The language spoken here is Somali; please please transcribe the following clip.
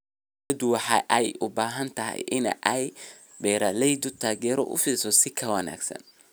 Dawladdu waxa ay u baahan tahay in ay beeralayda taageero u fidiso si ka wanaagsan.